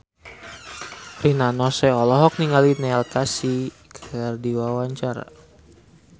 Rina Nose olohok ningali Neil Casey keur diwawancara